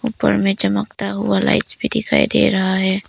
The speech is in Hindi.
उपर में चमकता हुआ लाइट्स भी दिखाई दे रहा है।